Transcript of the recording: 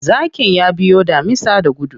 Zakin ya biyo damisa da gudu.